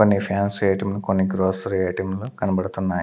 కొన్ని fancy items కొన్ని grocery items లు కనబడుతున్నాయి.